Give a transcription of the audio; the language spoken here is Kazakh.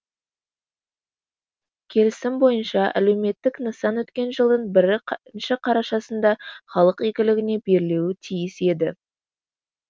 келісім бойынша әлеуметтік нысан өткен жылдың бірі қарашасында халық игілігіне берілуі тиіс еді